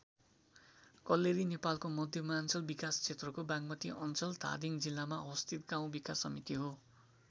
कल्लेरी नेपालको मध्यमाञ्चल विकास क्षेत्रको बागमती अञ्चल धादिङ जिल्लामा अवस्थित गाउँ विकास समिति हो।